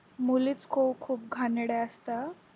मुलीच खूप खूप घाणेरड्या असता हा